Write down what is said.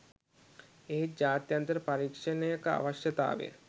එහෙත් ජාත්‍යන්තර පරීක්ෂණයක අවශ්‍යතාවය